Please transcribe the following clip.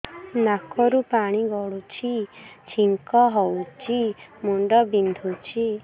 ନାକରୁ ପାଣି ଗଡୁଛି ଛିଙ୍କ ହଉଚି ମୁଣ୍ଡ ବିନ୍ଧୁଛି